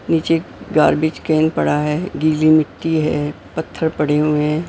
नीचे garbage can पड़ा है गीली मिट्टी है पत्थर पड़े हुए हैं।